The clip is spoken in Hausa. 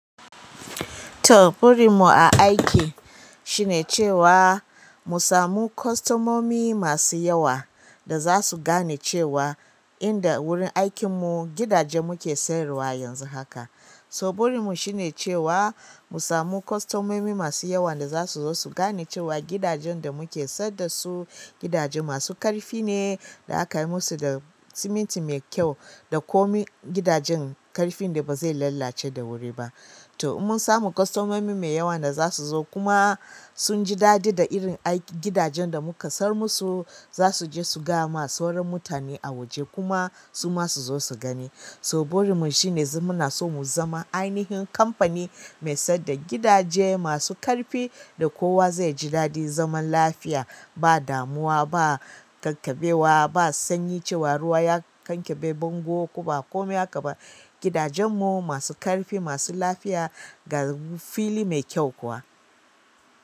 Toh burin mu a aiki shi ne cewa musamu kostomomi masu yewa dazasu gane cewa inda wurin aikin mu gidaje muke siyar wa yanzu haka to burin mu shine cewa mu samu kostomomi masu yawa da za su zo su gane cewa gidajen da muke sayad da su gidaje masu ƙarfi ne da aka yi musu da siminti mai kyau da komai. Gidajen ƙarfin da ba zai lallace da wuri ba. To inmun samu kostomomi mai yawa da za su zo kuma sun ji daɗi da irin aikin gidajen da muka sayar musu. Zasu je su gaya ma sauran mutane a waje kuma su ma su zo su gani. So burin mu shine muna so mu zama ainihin kamfani mai sayar da gidaje masu ƙarfi da kowa zai ji daɗi zaman lafiya, ba damuwa, ba ƙakkabewa, ba sanyi cewa ruwa ya kankabe bango ko ba komai aka ba. Gidajen mu masu ƙarfi, masu lafiya ga fili mai kyau kuwa.